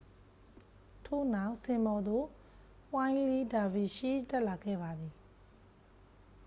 ထို့နောက် စင်ပေါ်သို့ ဝှိုင်းလီးလ်ဒါဗီရှီးစ် တက်လာခဲ့ပါသည်